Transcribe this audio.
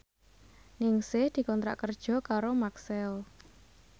Ningsih dikontrak kerja karo Maxell